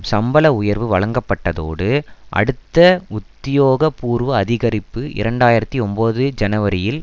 சம்பள உயர்வு வழங்கப்பட்டதோடு அடுத்த உத்தியோகபூர்வ அதிகரிப்பு இரண்டு ஆயிரத்தி ஒன்பது ஜனவரியில்